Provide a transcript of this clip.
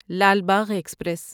Lal Bagh express